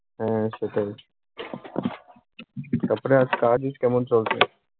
হ্যাঁ, সেটাই। তারপরে আর কাজ উজ কেমন চলছে?